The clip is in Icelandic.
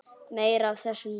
Meira af þessum toga.